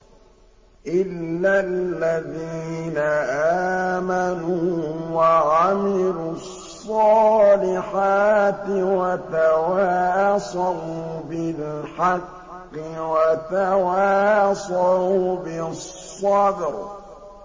إِلَّا الَّذِينَ آمَنُوا وَعَمِلُوا الصَّالِحَاتِ وَتَوَاصَوْا بِالْحَقِّ وَتَوَاصَوْا بِالصَّبْرِ